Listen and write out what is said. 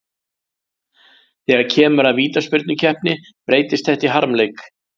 Þegar kemur að vítaspyrnukeppni breytist þetta í harmleik.